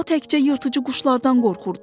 O təkcə yırtıcı quşlardan qorxurdu.